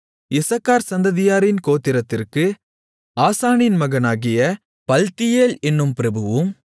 இசக்கார் சந்ததியாரின் கோத்திரத்திற்கு ஆசானின் மகனாகிய பல்த்தியேல் என்னும் பிரபுவும்